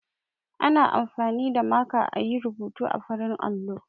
Ana amfani da maka a yi rubutu a farin allo.